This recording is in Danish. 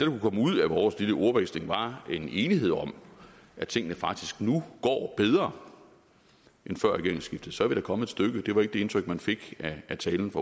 kunne komme ud af vores lille ordveksling var en enighed om at tingene faktisk nu går bedre end før regeringsskiftet så er vi da kommet et stykke det var ikke det indtryk man fik af talen